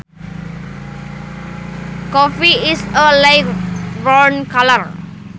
Coffee is a light brown color